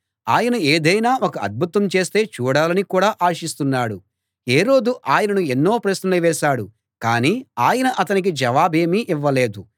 హేరోదు ఆయనను ఎన్నో ప్రశ్నలు వేశాడు కానీ ఆయన అతనికి జవాబేమీ ఇవ్వలేదు